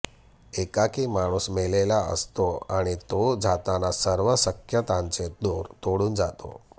एकाकी माणूस मेलेला असतो आणि तो जाताना सर्व शक्यतांचे दोर तोडून जातो